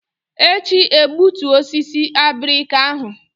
Echi egbutu osisi abirika ahụ!